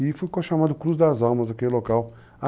E ficou chamado Cruz das Almas, aquele local.